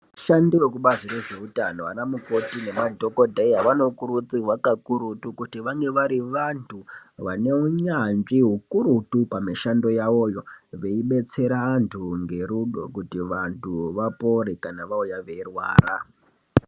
Vashandi vekubazi rezveutano vana mukoti nemadhogodheya vanokurudzirwa kakurutu. Kuti vangevari vantu vaneunyanzvi hukurutu kumishando yavoyo veibetsera vantu ngerudo kuti vantu vapore kana vauya veirwara.